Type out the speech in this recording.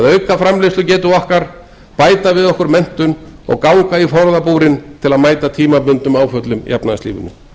auka framleiðslugetu okkar bæta við okkur menntun og ganga í forðabúrin til að mæta tímabundnum áföllum í efnahagslífinu